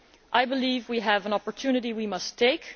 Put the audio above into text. I believe we have an opportunity which we must take.